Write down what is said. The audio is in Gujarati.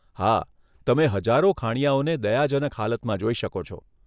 હા, તમે હજારો ખાણીયાઓને દયાજનક હાલતમાં જોઈ શકો છો.